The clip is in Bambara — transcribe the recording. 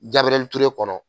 Gabiriyɛri Ture kɔnɔ.